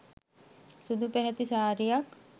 සුදු පැහැති සාරියක්.